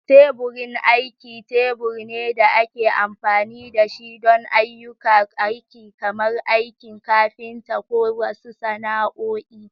Teburin aiki tebur ne da ake amfani da shi don ayyukan aiki kamar aikin kafinta ko wasu sana'o'i.